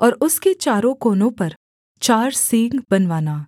और उसके चारों कोनों पर चार सींग बनवाना